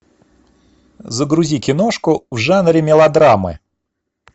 загрузи киношку в жанре мелодрамы